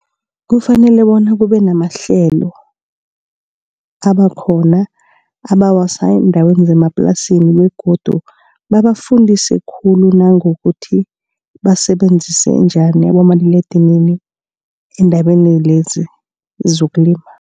Kufanele bona kube namahlelo abakhona abawasa eendaweni zemaplasini begodu babafundise khulu nangokuthi basebenzise njani abomaliledinini, endabeni lezi zokulima.